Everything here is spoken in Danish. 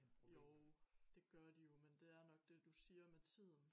Jo det gør det jo men det er nok det du siger med tiden